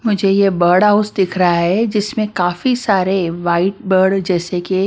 मुझे ये bird house दिख रहा है जिसमें काफी सारे वाइट बर्ड जैसे के--